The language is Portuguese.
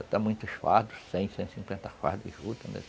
Até muitos fardos, cem, cento e cinquenta fardos de juta, né?